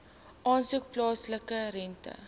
asook plaaslike rente